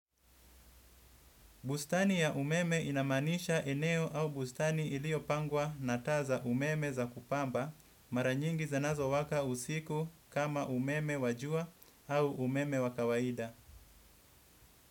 Bustani ya umeme inamaanisha eneo au bustani iliyopangwa na taa za umeme za kupamba mara nyingi zanazowaka usiku kama umeme wa jua au umeme wa kawaida.